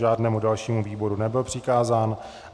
Žádnému dalšímu výboru nebyl přikázán.